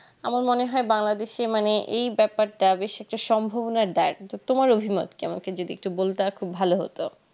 আমার মনে হয় bangladesh এ মানে এই ব্যাপারটা বেশ একটা সম্ভবনা দেয় কিন্তু তোমার অভিমত কেমন আমাকে যদি একটু বলতা খুব ভালো হতো